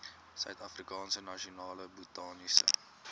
suidafrikaanse nasionale botaniese